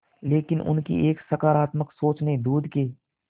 लेकिन उनकी एक सकरात्मक सोच ने दूध के